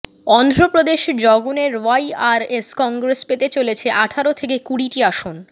অন্ধ্র প্রদেশে জগনের ওয়াইআরএস কংগ্রেস পেতে চলেছে আঠারো থেকে কুড়িটি আসন